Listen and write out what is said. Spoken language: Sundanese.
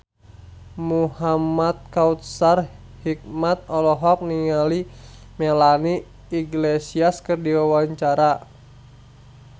Muhamad Kautsar Hikmat olohok ningali Melanie Iglesias keur diwawancara